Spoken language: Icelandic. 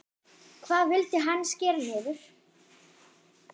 Hvað vildi hann skera niður?